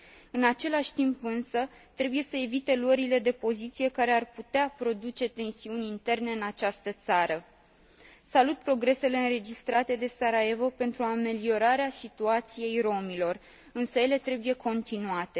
În același timp însă, trebuie să evite luările de poziție care ar putea produce tensiuni interne în această țară. Salut progresele înregistrate de Sarajevo pentru ameliorarea situației romilor, însă ele trebuie continuate.